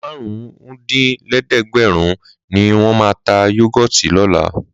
Márùn-úndín lẹ́ẹ̀ẹ́dẹ́gbẹ́rùn-ún ni wọ́n máa ta Yúgọ́ọ̀tì lọ́la.